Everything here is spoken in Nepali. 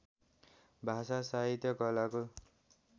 भाषा साहित्य कलाको